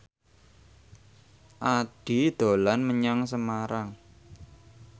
Addie dolan menyang Semarang